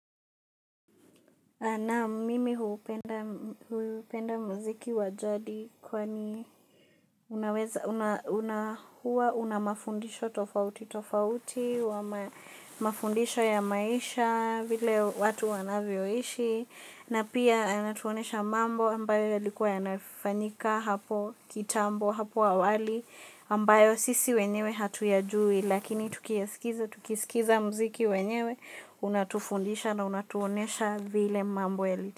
Naam mimi hupenda muziki wa jadi kwani unaweza, una huwa, una mafundisho tofauti, tofauti, wa mafundisho ya maisha, vile watu wanavyoishi, na pia inatuonyesha mambo ambayo yalikuwa yanafanyika hapo kitambo hapo awali ambayo sisi wenyewe hatuyajui lakini tukiskiza mziki wenyewe unatufundisha na unatuonyesha vile mambo yali.